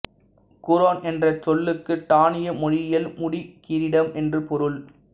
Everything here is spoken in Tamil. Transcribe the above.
குரோன் என்ற் சொல்லுக்கு டானிய மொழியில் முடிகிரீடம் என்று பொருள்